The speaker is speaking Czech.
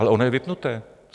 Ale ono je vypnuté.